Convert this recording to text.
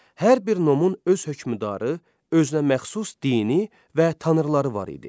Hər bir nomun öz hökmdarı, özünəməxsus dini və tanrıları var idi.